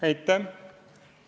Aitäh!